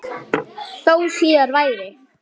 Þó síðar væri.